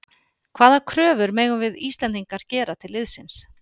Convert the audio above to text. Hvaða kröfur megum við Íslendingar gera til liðsins?